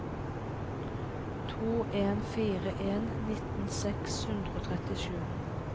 to en fire en nitten seks hundre og trettisju